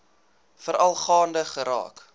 veral gaande geraak